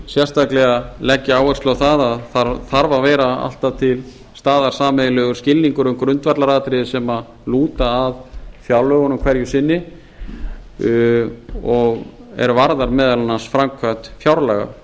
sérstaklega leggja áherslu á að það þarf að vera alltaf til staðar sameiginlegur skilningur um grundvallaratriði sem lúta að fjárlögunum hverju sinni er varða meðal annars framkvæmd fjárlaga